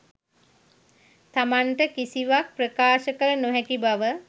තමන්ට කිසිවක් ප්‍රකාශ කළ නොහැකි බව